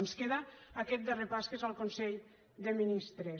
ens queda aquest darrer pas que és el consell de ministres